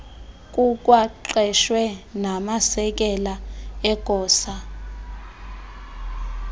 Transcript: kukwaqeshwe namasekela egosa